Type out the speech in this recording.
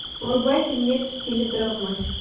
врубай фильмец в стиле драмы